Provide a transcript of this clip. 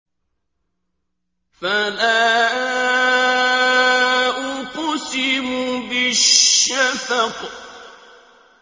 فَلَا أُقْسِمُ بِالشَّفَقِ